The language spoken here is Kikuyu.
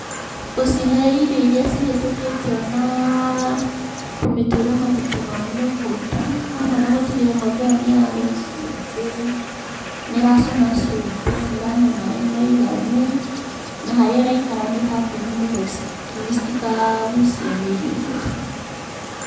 Gũcihe irio irĩa cihetũkĩtio, naa kũmĩtuĩra mahuti ma mĩgũnda, hamwe na gũtigĩrĩra ng'ombe ĩyo nĩ yarĩa cumbĩ, nĩ ĩracũna cumbĩ, nĩ ĩranyua maĩ maiganu, na harĩa ĩraikara nĩ hatheru, nĩguo citikagucie mĩrimũ.